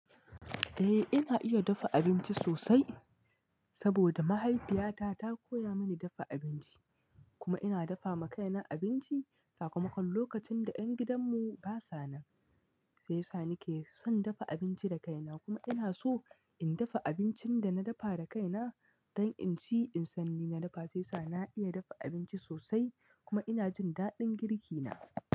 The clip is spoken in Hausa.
Eh, ina iya dafa abinci sosai saboda mahaifiya ta ta koya mani dafa abinci kuma ina dafa ma kai na abinci sakamakon lokacin da ƴan gidan mu ba sa nan. Sai sa nake son dafa abinci da kaina kuma ina so in dafa abincin da na dafa da kai na don in ci in san ni na dafa. Sai sa na iya dafa abinci sosai kuma ina jin daɗin girki na.